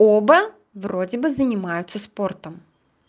оба вроде бы занимаются спортом